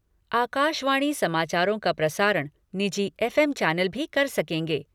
आकाशवाणी समाचारों का प्रसारण, निजी एफ एम चैनल भी कर सकेंगे।